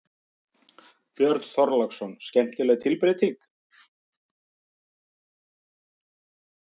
Björn Þorláksson: Skemmtileg tilbreyting?